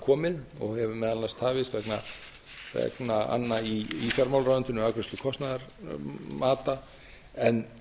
komið og hefur meðal annars tafist vegna anna í fjármálaráðuneytinu afgreiðslu kostnaðarmata en